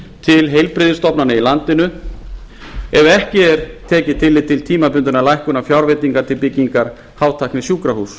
til heilbrigðisstofnana í landinu ef ekki er tekið tillit til tímabundinnar lækkunar fjárveitinga til byggingar hátæknisjúkrahúss